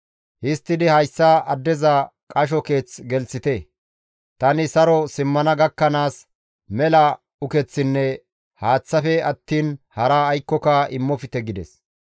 Histtidi hayssa addeza qasho keeth gelththite; tani saro simmana gakkanaas mela ukeththinne haaththafe attiin hara aykkoka immofte» gides.